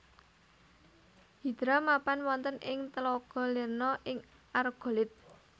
Hidra mapan wonten ing tlaga Lerna ing Argolid